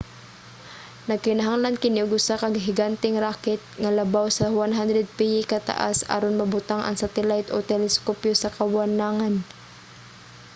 nagkinahanglan kini og usa ka higanteng rocket nga labaw sa 100 piye kataas aron mabutang ang satellite o teleskopyo sa kawanangan